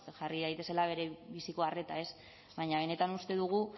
jarri daitezela berebiziko arreta ez baina benetan uste dugu